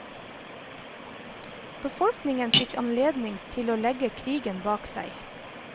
Befolkningen fikk anledning til å legge krigen bak seg.